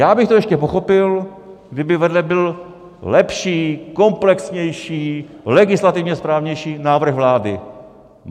Já bych to ještě pochopil, kdyby vedle byl lepší, komplexnější, legislativně správnější návrh vlády.